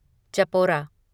Chapora